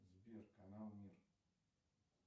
сбер канал мир